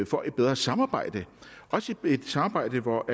får et bedre samarbejde også et samarbejde hvor